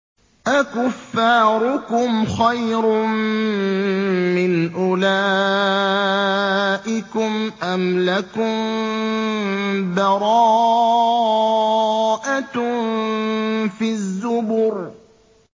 أَكُفَّارُكُمْ خَيْرٌ مِّنْ أُولَٰئِكُمْ أَمْ لَكُم بَرَاءَةٌ فِي الزُّبُرِ